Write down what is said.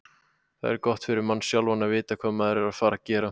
Það er gott fyrir mann sjálfan að vita hvað maður er að fara að gera.